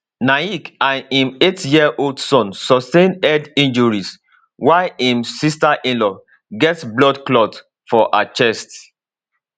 naik and im eightyearold son sustain head injuries while im sisterinlaw get blood clot for her chest